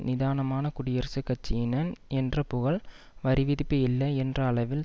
நிதானமான குடியரசுக் கட்சியினன் என்ற புகழ் வரி விதிப்பு இல்லை என்ற அளவில்